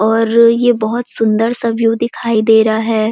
और ये बहुत सुंदर सा व्यू दिखाई दे रहा है।